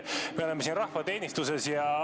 Me oleme siin rahva teenistuses.